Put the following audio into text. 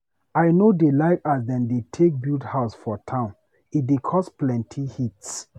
I no dey like as dem dey take build house for town, e dey cause plenty heat.